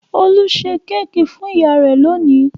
Olú ṣe kéékì fún ìyá rẹ̀ lónìí.